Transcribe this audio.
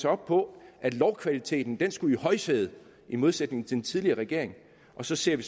op på at lovkvaliteten skulle sættes i højsædet i modsætning til den tidligere regering og så ser vi